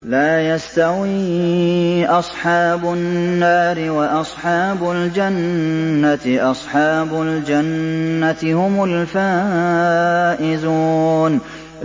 لَا يَسْتَوِي أَصْحَابُ النَّارِ وَأَصْحَابُ الْجَنَّةِ ۚ أَصْحَابُ الْجَنَّةِ هُمُ الْفَائِزُونَ